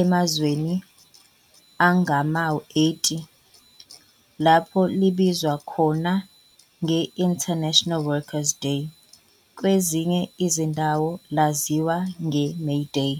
emazweni angama-80 lapho libizwa khona nge-"International Workers Day" kwezinye izindawo laziwa nge-"May Day".